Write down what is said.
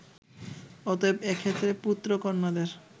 অতএব এক্ষেত্রে পুত্র-কন্যাদের